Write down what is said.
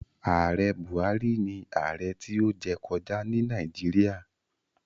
Ààrẹ Buhari ni ààrẹ tí ó jẹ kọjá ní Nàìjíríà.